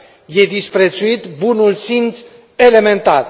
Este disprețuit bunul simț elementar.